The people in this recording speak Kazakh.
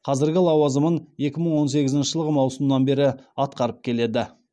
қазіргі лауазымын екі мың он сегізінші жылғы маусымнан бері атқарып келеді